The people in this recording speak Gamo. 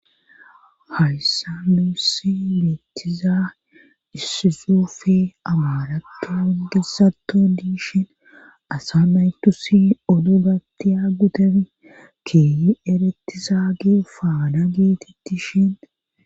hayssa muussi miettiza issisufe amarato ongesato diishin asa maytusi oddo gattiya gutef kieyi eretizaagi faana geetitti shin